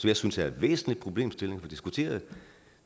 jeg synes er en væsentlig problemstilling at diskutere og